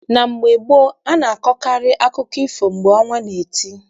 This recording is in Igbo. Na mgbe gboo, a na- akọkarị akụkọ ifo mgbe ọnwa na- eti.